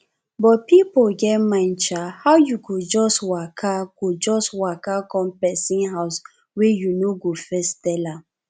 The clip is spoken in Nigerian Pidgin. but pipo get mind sha how you go just waka go just waka come pesin house wey you no go first tel am